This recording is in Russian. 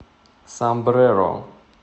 сомбреро